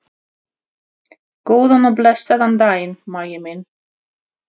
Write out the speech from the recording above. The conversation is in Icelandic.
Góðan og blessaðan daginn, Maggi minn.